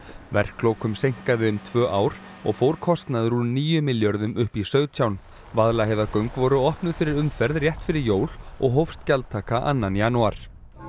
verklokum seinkaði um tvö ár og fór kostnaður úr níu milljörðum upp í sautján Vaðlaheiðargöng voru opnuð fyrir umferð rétt fyrir jól og hófst gjaldtaka annan janúar